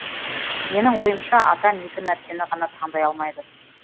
менің ойымша адам екі нәрсені ғана таңдай алмайды